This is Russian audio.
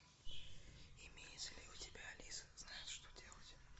имеется ли у тебя алиса знает что делать